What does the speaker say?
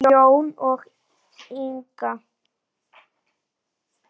Jón og Inga.